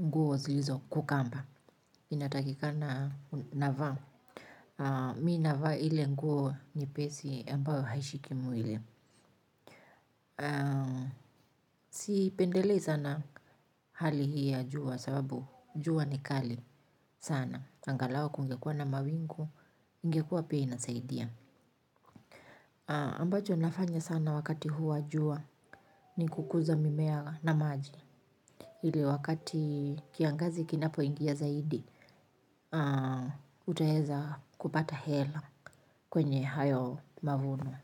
nguo zilizo kukamba. Inatakika na navaa mi anavaa ile nguo nyepesi ambayo haishikimu miwili sipendelei sana hali hii ya jua sababu jua ni kali sana angalau kungekuwa na mawingu. Ingekua pia inasaidia ambacho nafanya sana wakati huu wajua ni kukuza mimea na maji. Hili wakati kiangazi kinapo ingia zaidi, utaheza kupata hela kwenye hayo mavuno.